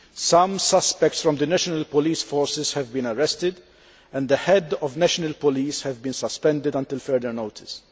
some suspects from the national police forces have been arrested and the Head of the National Police has been suspended until further notice.